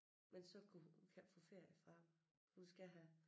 Men så kunne hun kan ikke få ferie fra hun skal have